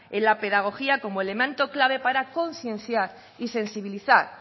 en la pedagogía como elemento clave para concienciar y sensibilizar